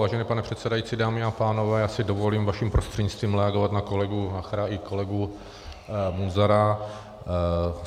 Vážený pane předsedající, dámy a pánové, já si dovolím vaším prostřednictvím reagovat na kolegu Nachera i kolegu Munzara.